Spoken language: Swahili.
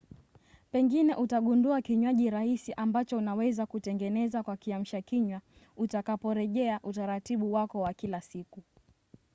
pengine utagundua kinywaji rahisi ambacho unaweza kutengeneza kwa kiamshakinywa utakaporejea utaratibu wako wa kila siku